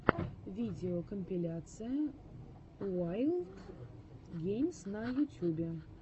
видеокомпиляция уайлд геймс на ютюбе